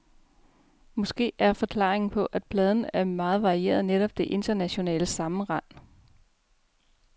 Måske er forklaringen på, at pladen er meget varieret netop det internationale sammenrend.